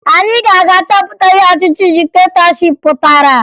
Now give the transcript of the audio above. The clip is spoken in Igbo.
Anyị ga-aga chọpụta ihe ọchịchị diktetọship pụtara